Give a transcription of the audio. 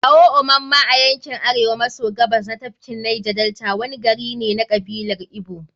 Awo-Omamma, a yankin Arewa maso Gabas na tafkin Neja-Delta. wani gari ne na kabilar Igbo.